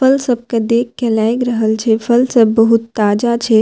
फल सब के देख के लएग रहल छै फल सब बहुत ताजा छै।